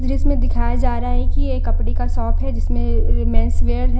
इसमें दिखाया जा रहा है कि ये कपड़े का शॉप है जिसमें मेंस वेयर है।